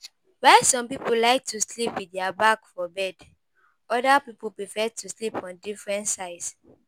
While some pipo like to sleep with their back for bed, oda pipo prefer to sleep on different sides